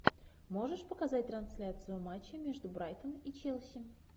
можешь показать трансляцию матча между брайтон и челси